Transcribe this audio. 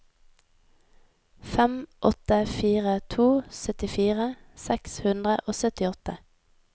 fem åtte fire to syttifire seks hundre og syttiåtte